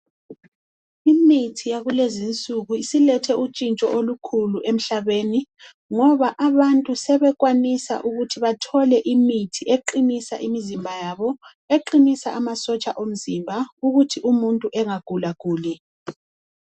Imithi yakulezinsuku isilethe utshintsho olukhulu emhlabeni ngoba abantu sebekwanisa ukuthi bathole imithi eqinisa imizimba yabo, eqinisa amasotsha omzimba ukuthi umuntu engagulaguli.